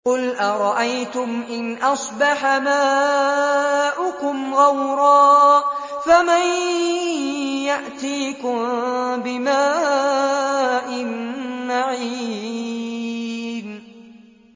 قُلْ أَرَأَيْتُمْ إِنْ أَصْبَحَ مَاؤُكُمْ غَوْرًا فَمَن يَأْتِيكُم بِمَاءٍ مَّعِينٍ